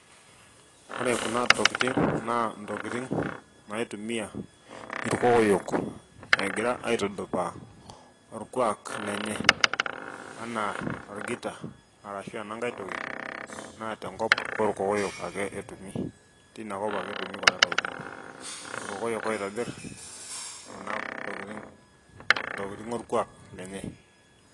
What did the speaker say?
Ore kuna tokitin naa tokitin naitumia irkokoyo egira aitudupaa orkuaak lenye, anaa orgita ashu ena nkae toki naa tenkop orkokoyo ake etumi tinikop ake etumi kuna tokitin, irkokoyo oitobir kuna tokitin tokitin orkuaak lenye.